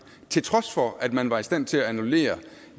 til trods for at man var i stand til at annullere